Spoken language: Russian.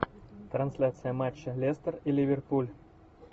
трансляция матча лестер и ливерпуль